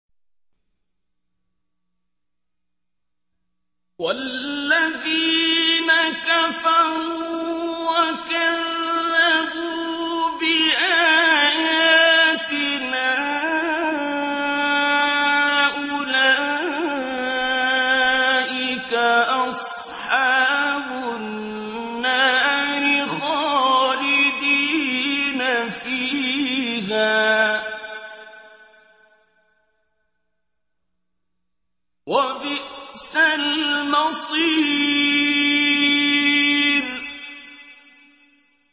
وَالَّذِينَ كَفَرُوا وَكَذَّبُوا بِآيَاتِنَا أُولَٰئِكَ أَصْحَابُ النَّارِ خَالِدِينَ فِيهَا ۖ وَبِئْسَ الْمَصِيرُ